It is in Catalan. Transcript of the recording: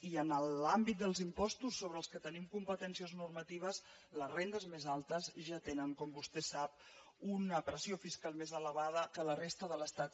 i en l’àmbit dels impostos sobre els quals tenim competències normatives les rendes més altes ja tenen com vostè sap una pressió fiscal més elevada que a la resta de l’estat